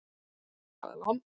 Friðjóna, hvernig er dagskráin?